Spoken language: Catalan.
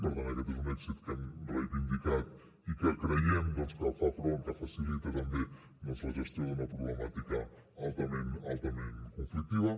per tant aquest és un èxit que hem reivindicat i que creiem doncs que fa front que facilita també la gestió d’una problemàtica altament conflictiva